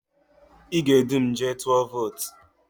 Ị ga-edu m jee tụọ votu?